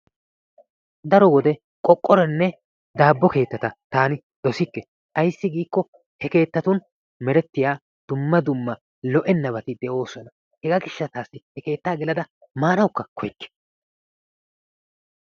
Daro wode qoqqorenne dabo keettata taani doossike ayssi giikko he keettatun merettiyaa dumma dumma lo"enabati de"oosona. Hegaa giishataassi he keettaa geellada maanasi kooyikke.